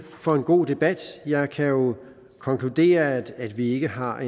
for en god debat jeg kan jo konkludere at at vi ikke har